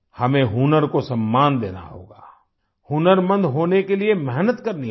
हमें हुनर को सम्मान देना होगा हुनरमंद होने के लिए मेहनत करनी होगी